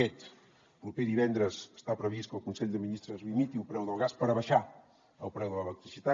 aquest proper divendres està previst que el consell de ministres limiti el preu del gas per abaixar el preu de l’electricitat